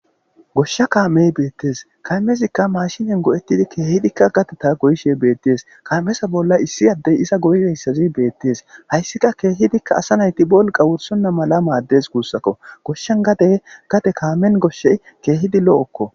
goshsha kaamey beettees kaymezikka maashinen go7ettidi keehidikka gateta goyishe beettees kaamesa bolla issi addey iza goygeyssazi beettees hayssika keehidikka asa nayti bolqa wursonna mala maaddes guussakko goshshan gadey gade kaamen goshshey keehidi lo7okko